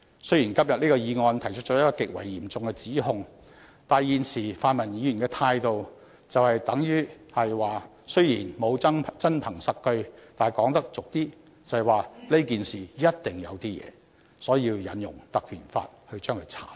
雖然今天的議案提出了一項極為嚴重的指控，但現時泛民議員的態度就是，雖然沒有真憑實據，但是——說得粗俗一點——這件事一定"有啲野"，所以要引用《條例》作出徹查。